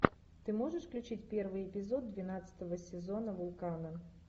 ты можешь включить первый эпизод двенадцатого сезона вулкана